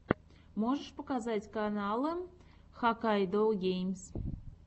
можешь показать каналы хаккайдогеймс